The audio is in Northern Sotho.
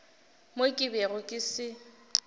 mo ke bego ke se